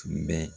Tun bɛ